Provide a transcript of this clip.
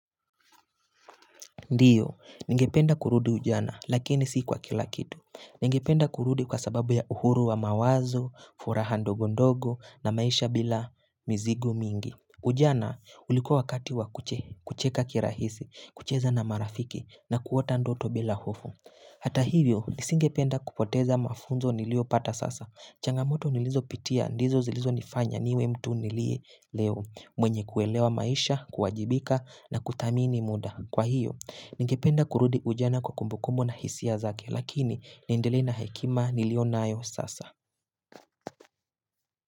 Ndiyo, ningependa kurudi ujana lakini si kwa kila kitu. Ningependa kurudi kwa sababu ya uhuru wa mawazo, furaha ndogo ndogo na maisha bila mizigo mingi. Ujana ulikuwa wakati wa kucheka kirahisi, kucheza na marafiki na kuota ndoto bila hofu. Hata hivyo, nisingependa kupoteza mafunzo niliyopata sasa. Changamoto nilizopitia, ndizo zilizopanya, niwe mtu niliye leo, mwenye kuelewa maisha, kuwajibika na kuthamini muda. Kwa hiyo, nigependa kurudi ujana kwa kumbukumbu na hisia zake, lakini niendelee na hekima niliyo nayo sasa.